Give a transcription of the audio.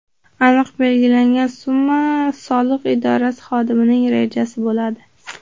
Aniq belgilangan summa soliq idorasi xodimining rejasi bo‘ladi.